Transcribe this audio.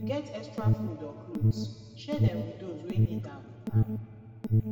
if yu get extra food or clothes share dem with dose wey nid am am